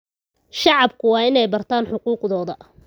Shacabku waa inay bartaan xuquuqdooda.